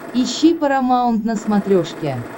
ищи парамаунт на смотрешке